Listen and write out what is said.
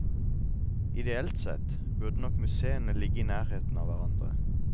Ideelt sett burde nok museene ligge i nærheten av hverandre.